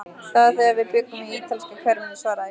Það var þegar við bjuggum í ítalska hverfinu svaraði ég.